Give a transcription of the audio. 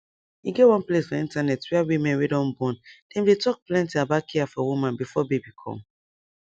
e get one place for internet where women wey don born dem dey talk plenty about care for woman before baby come